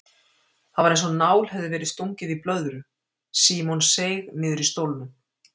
Það var einsog nál hefði verið stungið í blöðru, Símon seig niður í stólnum.